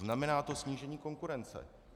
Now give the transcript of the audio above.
Znamená to snížení konkurence.